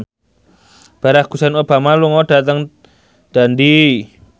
Barack Hussein Obama lunga dhateng Dundee